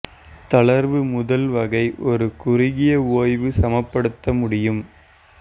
தளர்வு முதல் வகை ஒரு குறுகிய ஓய்வு சமப்படுத்த முடியும்